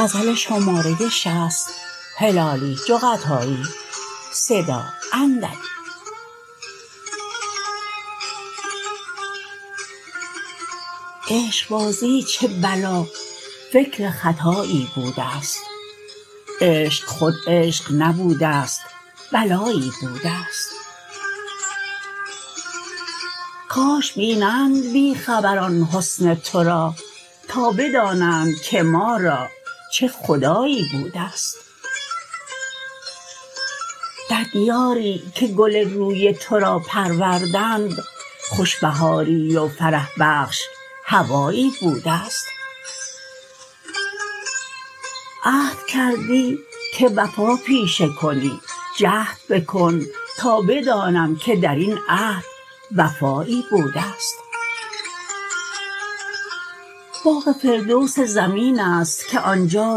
عشقبازی چه بلا فکر خطایی بودست عشق خود عشق نبودست بلایی بودست کاش بینند بی خبران حسن ترا تا بدانند که ما را چه خدایی بودست در دیاری که گل روی ترا پروردند خوش بهاری و فرح بخش هوایی بودست عهد کردی که وفا پیشه کنی جهد بکن تا بدانم که درین عهد وفایی بودست باغ فردوس زمینست که آنجا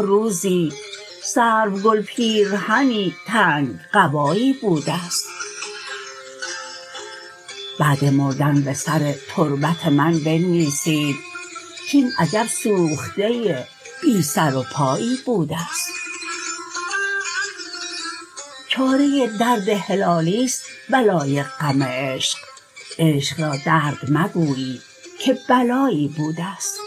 روزی سرو گل پیرهنی تنگ قبایی بودست بعد مردن بسر تربت من بنویسید کین عجب سوخته بی سرو پایی بودست چاره درد هلالیست بلای غم عشق عشق را درد مگویی که بلایی بودست